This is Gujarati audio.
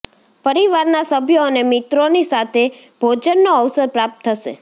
પરિવારના સભ્યો અને મિત્રોની સાથે ભોજનનો અવસર પ્રાપ્ત થશે